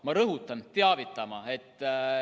Ma rõhutan: teavitama.